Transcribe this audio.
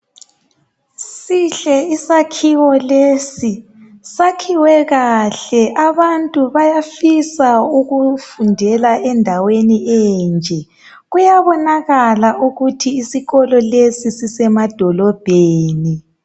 Sihle isakhiwo lesi, sakhiwe kahle. Abantu bayafisa ukufundela endaweni enje. Kuyabonakala ukuthi isikolo lesi sisemadolobheni.